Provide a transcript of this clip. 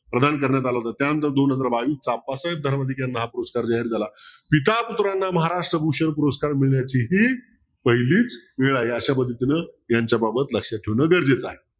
प्रधान करण्यात आलं होत त्यानंतर दोन हजार बावीसला अप्पासाहेब धर्मधिकारी याना हा पुरस्कार जाहीर झाला. पिता पुत्राना महाराष्ट्र भूषण पुरस्कार मिळण्याची ही पहिलीच वेळ आहे अशा पद्धतीने यांच्या बाबत लक्षात ठेवणे गरजेचे आहे.